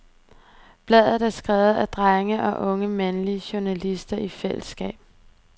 Bladet er skrevet af drenge og unge mandlige journalister i fællesskab.